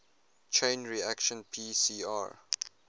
chain reaction pcr